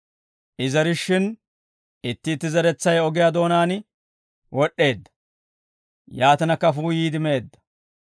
I zerishshin, itti itti zeretsay ogiyaa doonaan wod'd'eedda; yaatina kafuu yiide meedda.